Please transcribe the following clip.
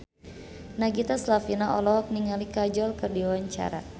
Nagita Slavina olohok ningali Kajol keur diwawancara